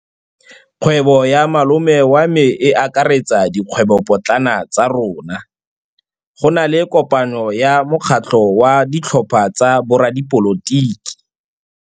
Kgwêbô ya malome wa me e akaretsa dikgwêbôpotlana tsa rona. Go na le kopanô ya mokgatlhô wa ditlhopha tsa boradipolotiki.